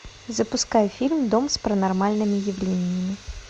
запускай фильм дом с паранормальными явлениями